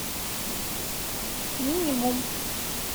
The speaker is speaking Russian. минимум